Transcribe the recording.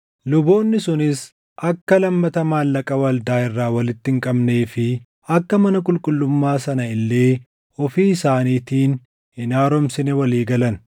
Luboonni sunis akka lammata maallaqa waldaa irraa walitti hin qabnee fi akka mana qulqullummaa sana illee ofii isaaniitiin hin haaromsine walii galan.